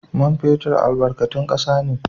Man fetur albarkatun kasa ne.